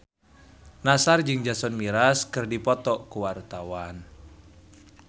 Nassar jeung Jason Mraz keur dipoto ku wartawan